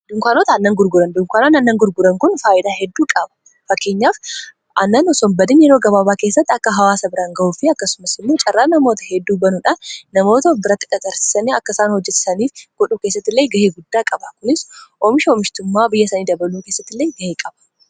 dunkaanota annan gurguran dunkaanoon annan gurguran kun faayidaa hedduu qaba fakkiinyaaf annan sonbadin yeroo gabaabaa keessatti akka hawaasa biraan ga'uufi akkasumas imuu caarraa namoota hedduu banuudhaan namoota biratti dhaxarsiisanii akkaisaan hojjesaniif godhuu kessatti illee gahee guddaa qaba kunis oomisha omishtummaa biyya sanii dabaluu keessattilee gahee qaba